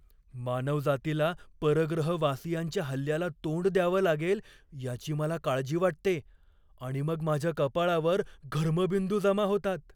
मानवजातीला परग्रहवासियांच्या हल्ल्याला तोंड द्यावं लागेल याची मला काळजी वाटते आणि मग माझ्या कपाळावर घर्मबिंदू जमा होतात.